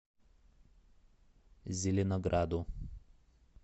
зеленограду